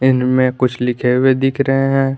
इनमें कुछ लिखे हुए दिख रहे हैं।